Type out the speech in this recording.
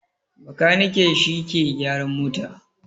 Makaniki shi ke gyaran mota